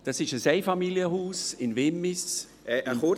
Das ist ein Einfamilienhaus in Wimmis ...